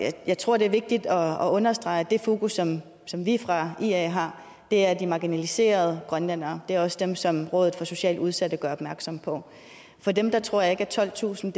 jeg tror det er vigtigt at understrege at det fokus som som vi fra ia har er de marginaliserede grønlændere det er også dem som rådet for socialt udsatte gør opmærksom på for dem tror jeg ikke at tolvtusind